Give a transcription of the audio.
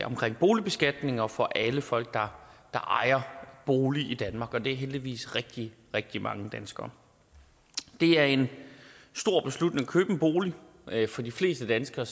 omkring boligbeskatningen og for alle folk der ejer bolig i danmark og det er heldigvis rigtig rigtig mange danskere det er en stor beslutning at købe en bolig for de fleste danskere